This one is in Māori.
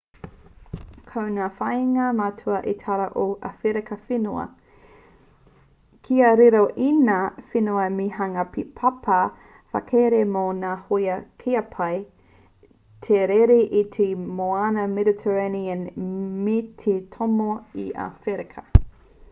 ko ngā whāinga matua a itaria ko ō awherika whenua kia riro i ēnā whenua me hanga he papa whakarere mō ngā hōia kia pai ai te rere i te moana mediterranean me te tomo i a awherika